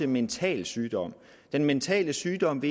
mental sygdom den mentale sygdom